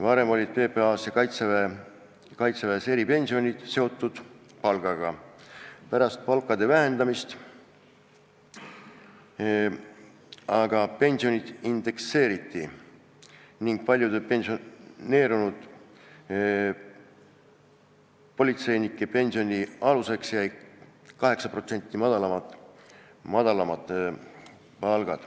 Varem olid PPA ja Kaitseväe eripensionid seotud palgaga, pärast palkade vähendamist aga pensionid indekseeriti ning paljude pensioneerunud politseinike pensioni aluseks jäi 8% madalam palk.